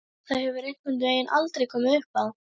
Það hefur einhvern veginn aldrei komið uppá.